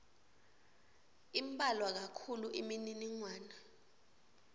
imbalwa kakhulu imininingwane